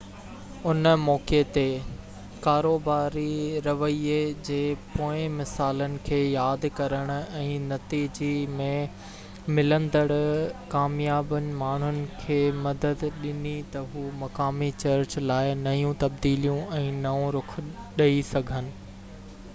ان موقعي تي ڪاروباري رويي جي پوئين مثالن کي ياد ڪرڻ ۽ نتيجي ۾ ملندڙ ڪاميابين ماڻهن کي مدد ڏني ته هو مقامي چرچ لاءِ نيون تبديليون ۽ نئون رخ ڏئي سگهن